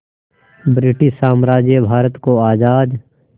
British साम्राज्य भारत को आज़ाद